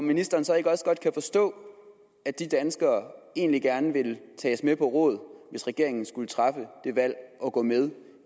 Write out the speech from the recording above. ministeren så ikke også godt forstå at de danskere egentlig gerne vil tages med på råd hvis regeringen skulle træffe det valg at gå med